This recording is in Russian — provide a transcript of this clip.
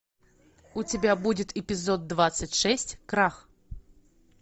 у тебя будет эпизод двадцать шесть крах